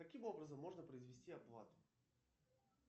каким образом можно произвести оплату